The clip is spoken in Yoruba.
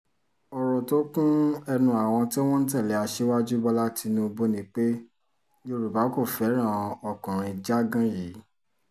ọ̀rọ̀ tó kún ẹnu àwọn tí wọ́n ń tẹ̀lé aṣíwájú bọ́lá tínúbù ni pé yorùbá kò fẹ́ràn ọkùnrin jágán yìí